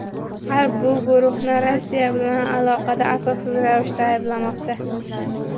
G‘arb bu guruhni Rossiya bilan aloqada asossiz ravishda ayblamoqda.